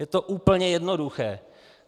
Je to úplně jednoduché!